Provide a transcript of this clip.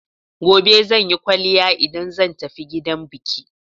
Gobe zan yi kwaliya idan zan tafi gidan biki.